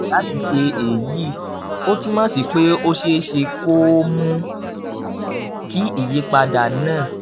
láti ṣe èyí ó túmọ̀ sí pé ó ṣeé ṣe kó o mú kí ìyípadà náà